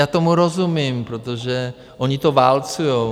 Já tomu rozumím, protože oni to válcují.